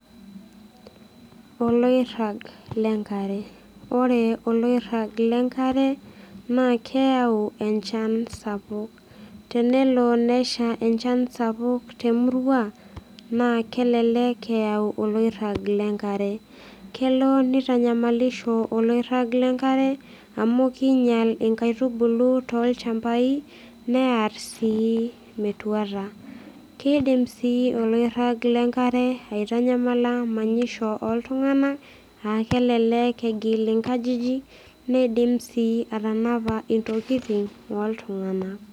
oloirag le nkare, ore oloirag lenkare naa keyau enchan sapuk. tenelo nsha enchan sapuk te murua naa kelelk eyau oloirag lenkare, kelo nitanyamalisho oloirag lenkare. kinyial inkaitubulu tolchampai, neer sii metuata. kidim sii olirag lenkare aitanyamala manyisho, oltungana aa kelelek egil inkajijik. neidim sii atanapa, intokitin ooltungana.